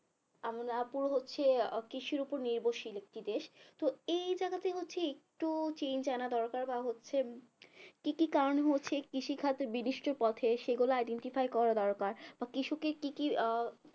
আমরা আপুর হচ্ছে কৃষির উপর নির্ভরশীল একটি দেশ তো এই জায়গাতে হচ্ছে একটু change আনা দরকার বা হচ্ছে কি কি কারণে হচ্ছে কৃষি খাত বিদিষ্টির পথে তো সেগুলো identify করা দরকার বা কৃষকের কি কি